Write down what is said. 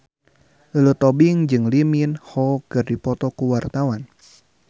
Lulu Tobing jeung Lee Min Ho keur dipoto ku wartawan